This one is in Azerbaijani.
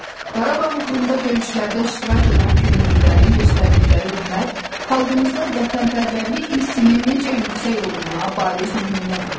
Qarabağ uğrunda döyüşlərdə iştirak edən könüllülərin göstərdikləri hünər xalqımızda vətənpərvərlik hissinin necə yüksək olduğuna bariz nümunədir.